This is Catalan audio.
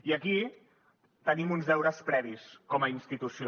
i aquí tenim uns deures previs com a institució